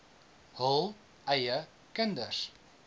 hul eie kinders